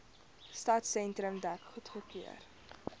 stadsentrum dek goedgekeur